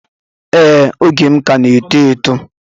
Ee oge m ka na eto eto